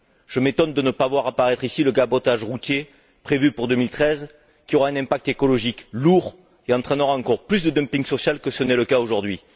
Je m'étonne de ne pas voir apparaître ici le cabotage routier, prévu pour 2013, qui aura un impact écologique lourd et entraînera encore plus de dumping social que ce n'est le cas aujourd'hui.